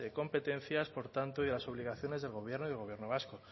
competencias por tanto y de las obligaciones del gobierno y del gobierno vasco